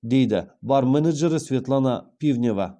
дейді бар менеджері светлана пивнева